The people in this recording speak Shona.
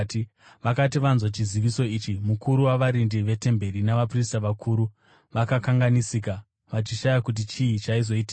Vakati vanzwa chiziviso ichi, mukuru wavarindi vetemberi navaprista vakuru vakakanganisika, vachishaya kuti chii chaizoitika.